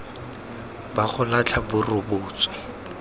ba go latlha bo rebotswe